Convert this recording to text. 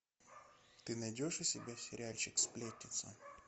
ты найдешь у себя сериальчик сплетница